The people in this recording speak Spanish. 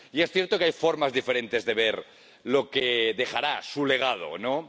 Y es cierto que hay formas diferentes de ver lo que dejará su legado, ¿no?